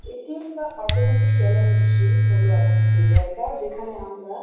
ATM. বা automated teller machine হল এমন একটি জায়গা যেখানে আমরা--